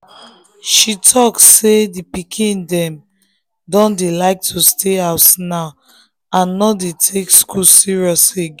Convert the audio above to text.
she talk say the pikin dem don dey like to stay house now and no dey take school serious again.